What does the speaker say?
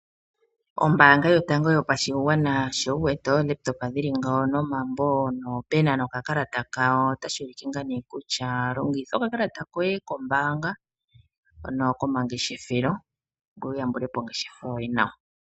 Ombaanga yotango yopashigwana sho wuwete oolaptop dhili ngawo nomambo noopena nokakalata kawo , otashi ulike ngaa ne kutya longitha okakalata koye koombanga ano komangeshefelo ngoye wuyambulepo ongeshafa yoye nawa.